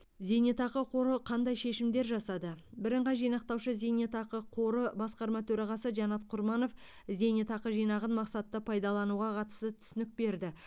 зейнетақы қоры қандай шешімдер жасады бірыңғай жинақтаушы зейнетақы қоры басқарма төрағасы жанат құрманов зейнетақы жинағын мақсатты пайдалануға қатысты түсінік берді